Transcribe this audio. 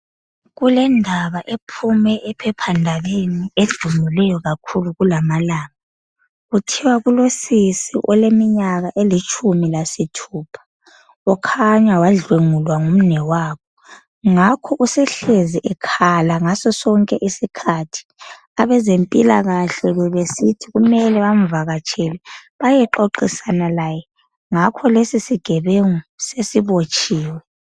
kulendaba ephume ephephandabeni edumileyo kakhulu kulamalanga kuthiwa kulosisi oleminyaka elitshumi lasithupha kukhanya wadlwengulwa ngumnewabo ngakho usehlezi ekhala ngaso sonke isikhathi abezempilakahle bebesithi kumele bamvakatshele bayexoxisana laye ngakho lesi sigebengu sesibotshiwe